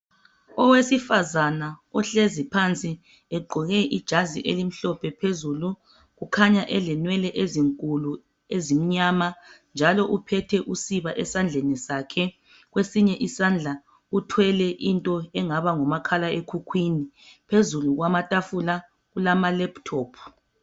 Owesifazana ohleziphansi egqoke ijazi elimhlophe phezulu , kukhanya elenwele ezinkulu ezimnyama njalo uphethe usiba esandleni sakhe kwesinye isandla uthwele okungani ngumakhala ekhukhwini phezulu kwamatafula kulama lephutophu.